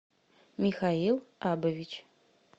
михаил абович